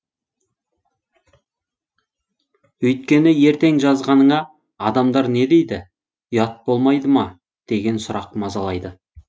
өйткені ертең жазғаныңа адамдар не дейді ұят болмайды ма деген сұрақ мазалайды